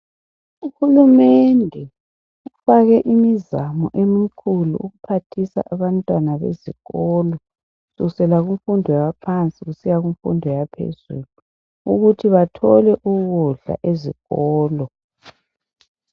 uhulumendo ufake imizamo emikhulu ephathisa abantwana besikolo kusukusela kumfundo yaphansi kusiya kumfundo yaphezuluukuthi bathole ukudla ezikolo